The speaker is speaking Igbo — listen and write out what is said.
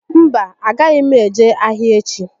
Mba, a agaghị m eje ahịa echi